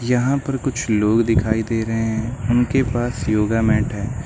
यहां पर कुछ लोग दिखाई दे रहे हैं उनके पास योगा मैट है।